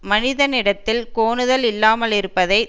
மனத்தினிடத்தில் கோணுதல் இல்லாமலிருப்பதை